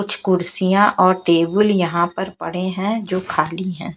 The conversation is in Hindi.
कुछ कुर्सियां और टेबुल यहां पर पड़े हैं जो खाली है।